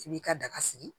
I b'i ka daga sigi